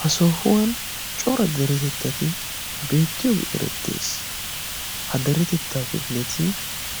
ha sohuwan cora deretettati beettiyoogi erettees. ha deretettaa kefileti